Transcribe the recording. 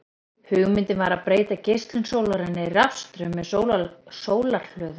Hugmyndin var að breyta geislun sólarinnar í rafstraum með sólarhlöðum.